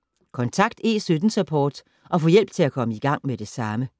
Kontakt E17-Support og få hjælp til at komme i gang med det samme.